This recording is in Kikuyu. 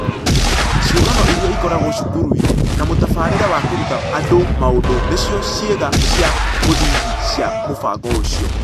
Ciũngano Iria Ikoragwo Cukuru-inĩ na mũtabarĩre wa kũruta andũ maũndũ nĩcio ciĩga cia mũthingi cia mũbango ũcio.